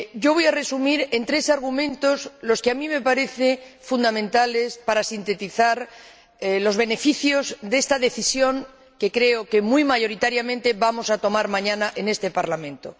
Voy a resumir en tres argumentos, los que a mí me parecen fundamentales para sintetizar los beneficios de esta decisión, que creo que muy mayoritariamente vamos a tomar mañana en este Parlamento.